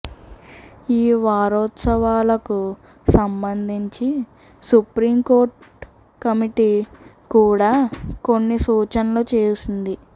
ఈ వారోత్సవాలకు సంబంధించి సుప్రీంకోర్టు కమిటీ కూడా కొన్ని సూచనలు చేసింది